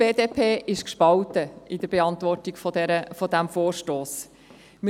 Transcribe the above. Die BDP ist in der Beantwortung dieses Vorstosses gespalten.